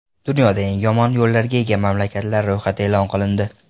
Dunyoda eng yomon yo‘llarga ega mamlakatlar ro‘yxati e’lon qilindi.